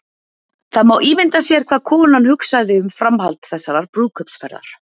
Það má ímynda sér hvað konan hugsaði um framhald þessarar brúðkaupsferðar.